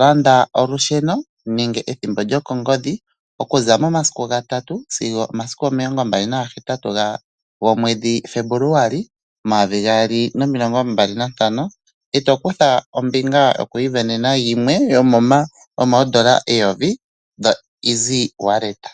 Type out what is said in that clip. Landa olusheno nenge ethimbo lyokongodhi, okuza momasiku ga3 sigo 28 gomwedhi Febuluali 2025, e to kutha ombinga yoku isindanena limwe lyomooN$ 1000 pamukalo gokutuminwa oshimaliwa kongodhi.